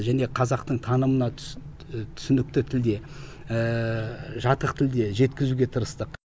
және қазақтың танымына түс түсінікті тілде жатық тілде жеткізуге тырыстық